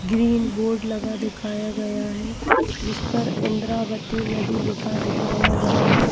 Green board लगा दिखाया गया है जिस पर इंद्रावती नदी लिखा दिखाया गया है।